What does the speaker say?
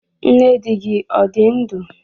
Nne dị gị ọ dị ndụ?